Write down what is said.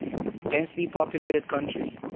densely populated country